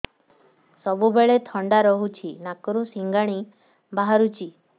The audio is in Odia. ସବୁବେଳେ ଥଣ୍ଡା ରହୁଛି ନାକରୁ ସିଙ୍ଗାଣି ବାହାରୁଚି